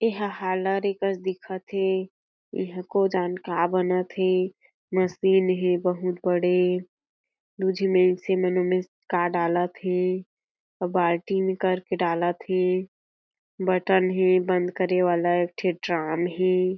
एहा हैलोरिकस दिखत हें ए हा को जान का बनत हें मशीन हें बहुत बड़े दू झी मइनसे का डालत हें अउ बाल्टी म कर के डालत हें बटन हें बंद करे वाला एक ठी ड्राम हें।